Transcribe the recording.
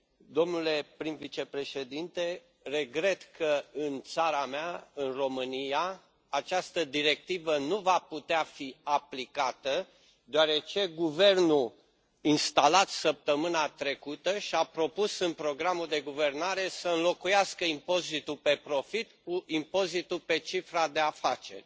Domnule prim vicepreședinte, regret că în țara mea, în România, această directivă nu va putea fi aplicată deoarece guvernul instalat săptămâna trecută și a propus în programul de guvernare să înlocuiască impozitul pe profit cu impozitul pe cifra de afaceri.